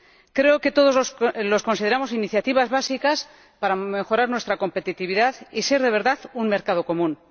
Creo que todos los consideramos iniciativas básicas para mejorar nuestra competitividad y ser de verdad un mercado común.